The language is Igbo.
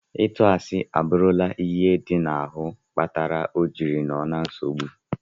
Itụ asi aburula ihe di na ahu kpatara ojiri noo na nsogbu.